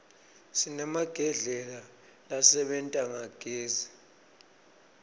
sinemagedlela lasebenta ngagezi